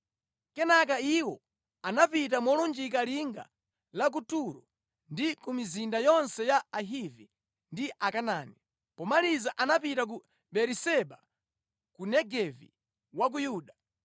Kenaka iwo anapita molunjika linga la ku Turo ndi ku mizinda yonse ya Ahivi ndi Akanaani. Pomaliza anapita ku Beeriseba ku Negevi wa ku Yuda.